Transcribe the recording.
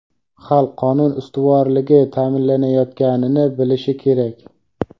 xalq qonun ustuvorligi ta’minlanayotganini bilishi kerak.